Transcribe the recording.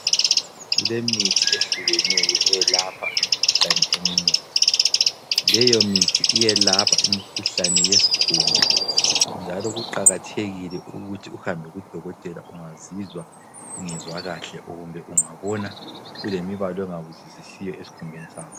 Kulemithi ehlukeneyo eyelapha imikhuhlane eminengi. Leyo mithi iyelapha imikhuhlane yesikhumba njalo kuqakathekile ukuthi uhambe kudokotela ungazizwa ungezwa kahle kumbe ungabona ulemibala ongayizwisisiyo esikhumbeni sakho.